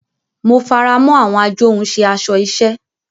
Mo faramọ awọn ajohunše aṣọ iṣẹ.